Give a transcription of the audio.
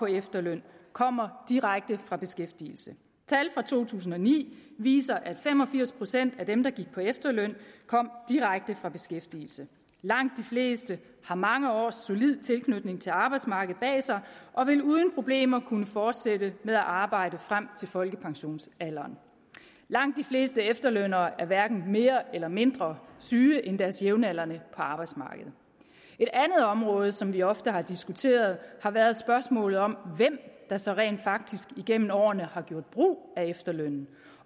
efterløn kommer direkte fra beskæftigelse tal fra to tusind og ni viser at fem og firs procent af dem der gik på efterløn kom direkte fra beskæftigelse langt de fleste har mange års solid tilknytning til arbejdsmarkedet bag sig og vil uden problemer kunne fortsætte med at arbejde frem til folkepensionsalderen langt de fleste efterlønnere er hverken mere eller mindre syge end deres jævnaldrende på arbejdsmarkedet et andet område som vi ofte har diskuteret har været spørgsmålet om hvem der så rent faktisk igennem årene har gjort brug af efterlønnen